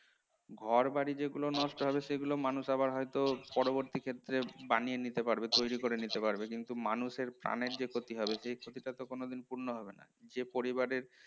ঘরবাড়ি যেগুলো নষ্ট হবে সেগুলো মানুষ আবার হয়তো পরবর্তী ক্ষেত্রে বানিয়ে নিতে পারবে, তৈরি করে নিতে পারবে, কিন্তু মানুষের প্রাণের যে ক্ষতি হবে সেই ক্ষতিটা তো কোনদিন পূর্ণ হবে না। যে পরিবারের